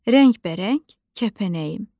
Rəngbərəng kəpənəyim.